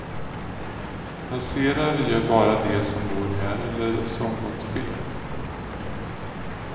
Passerar gör bara de som bor här eller som gått fel.